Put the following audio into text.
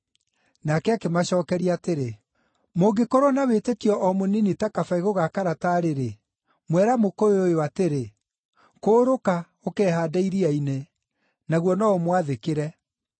Nake akĩmacookeria atĩrĩ, “Mũngĩkorwo na wĩtĩkio o mũnini ta kabegũ ga karatarĩ-rĩ, mwera mũkũyũ ũyũ atĩrĩ, ‘Kũũrũka, ũkehaande iria-inĩ,’ naguo no ũmwathĩkĩre.